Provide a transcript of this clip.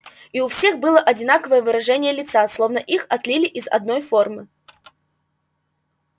и у всех было одинаковое выражение лица словно их отлили из одной формы